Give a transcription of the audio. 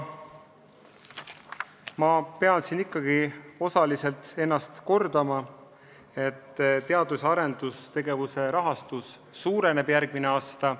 Ma pean siin ikkagi ennast osaliselt kordama ja kinnitama: teadus- ja arendustegevuse rahastus suureneb järgmisel aastal.